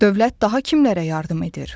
Dövlət daha kimlərə yardım edir?